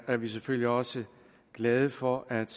er vi selvfølgelig også glade for at